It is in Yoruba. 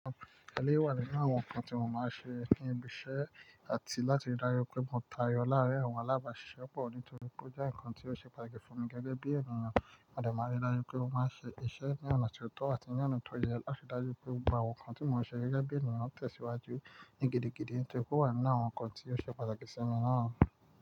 Àlé wà nínú àwọn ǹkan tí mo máa ń ṣe ní ibi iṣẹ́ àti láti rí dájú pé mo tayọ láàárín àwọn alábàáṣiṣẹ́ pọ̀ nítorípé ó jẹ́ ǹkan tí ó ṣe pàtàkì fún mi gẹ́gẹ́ bí ènìyàn. A dè máa rí dájú pé mo máa ń ṣe iṣẹ́ ní ọ̀nà tó tọ́ àti ní ọ̀nà tó yẹ láti rí dájú pé àwọn ǹkan tí mò ń ṣe gẹ́gẹ́ bí ènìyàn ń tẹ̀síwájú ní gidigidi. Nítorí pé ò wà nínú àwọn ǹkan tí ó ṣe pàtàkì sí mi náà.